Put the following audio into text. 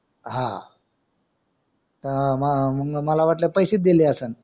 हां आह मंग मला वाटलं पैसे दिले असेन